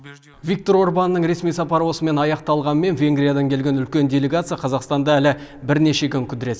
виктор орбанның ресми сапары осымен аяқталғанымен венгриядан келген үлкен делегация қазақстанда әлі бірнеше күн кідіреді